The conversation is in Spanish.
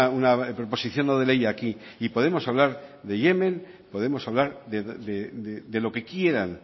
una proposición no de ley aquí y podemos hablar de yemen podemos hablar de lo que quieran